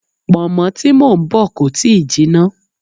Pọ̀nmọ́ tí mò ń bọ̀ kò tíì jinná.